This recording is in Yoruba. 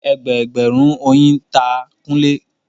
Ẹgbẹẹgbẹ̀rún oyin ta Kunle